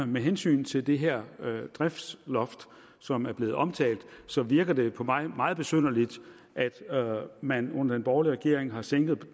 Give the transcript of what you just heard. med hensyn til det her driftsloft som er blevet omtalt så virker det på mig meget besynderligt at man under den borgerlige regering har sænket